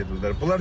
Dənizə gedirlər.